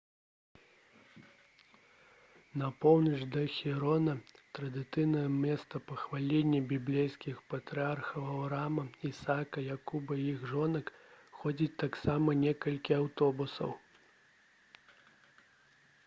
на поўнач да хеўрона традыцыйнага месца пахавання біблейскіх патрыярхаў аўраама ісака якуба і іх жонак ходзяць таксама некалькі аўтобусаў